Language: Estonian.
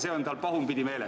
See on tal pahupidi meeles.